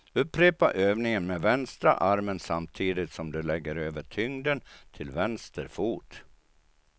Upprepa övningen med vänstra armen samtidigt som du lägger över tyngden till vänster fot.